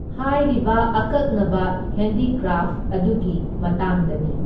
ꯍꯥꯏꯔꯤꯕ ꯑꯀꯛꯅꯕ ꯍꯦꯟꯗꯤꯀ꯭ꯔꯥꯐ ꯑꯗꯨꯒꯤ ꯃꯇꯥꯡꯗꯅꯤ꯫